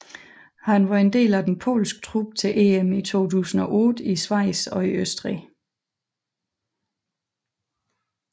Han var en del af den polske trup til EM i 2008 i Schweiz og Østrig